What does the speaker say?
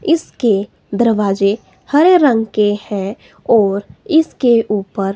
इसके दरवाजे हरे रंग के हैं और इसके ऊपर--